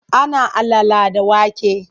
Ana alala da wake.